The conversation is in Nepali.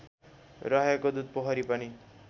रहेको दुधपोखरी पनि